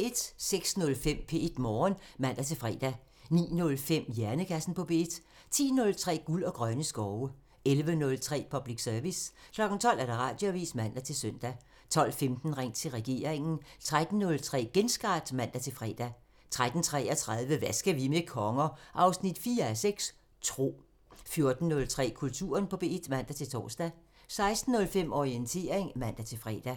06:05: P1 Morgen (man-fre) 09:05: Hjernekassen på P1 10:03: Guld og grønne skove 11:03: Public Service 12:00: Radioavisen (man-søn) 12:15: Ring til regeringen 13:03: Genstart (man-fre) 13:33: Hvad skal vi med konger? 4:6 – Tro 14:03: Kulturen på P1 (man-tor) 16:05: Orientering (man-fre)